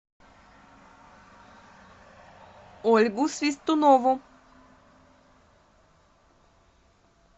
ольгу свистунову